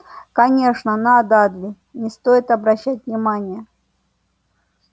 конечно на дадли не стоит обращать внимание